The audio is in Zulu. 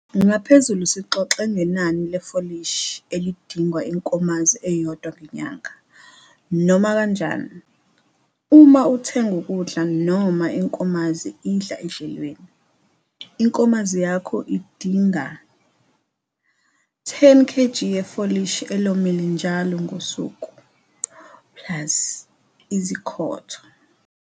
Ngaphezulu sixoxe ngenani lefolisihi elidingwa inkomazi eyodwa ngenyanga. Noma kanjani, uma uthenga ukudla noma inkomazi idla edlelweni, inkomazi yakho idinga 10 kg yefolishi elomile njalo ngosuku, plus izikhotho.